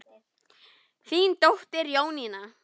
Þín dóttir, Jónína.